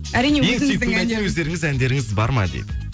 әрине өздеріңіздің әндеріңіз бар ма дейді